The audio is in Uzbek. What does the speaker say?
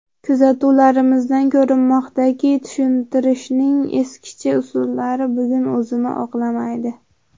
Kuzatuvlarimizdan ko‘rinmoqdaki, tushuntirishning eskicha usullari bugun o‘zini oqlamaydi.